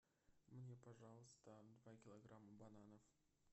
мне пожалуйста два килограмма бананов